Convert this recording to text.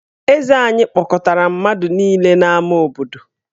Eze anyị kpọkọtara mmadụ niile n’ámá obodo.